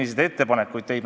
Ma vastan ka sellele.